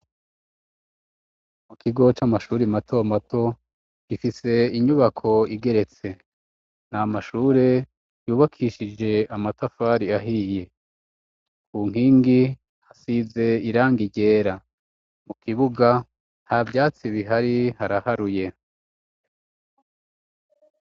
Mu kigo c'amashuri mato mato, gifise inyubako igeretse nta mashure yubakishije amatafari ahiye, ku nkingi hasize irangi ryera mu kibuga nta byatsi bihari haraharuye.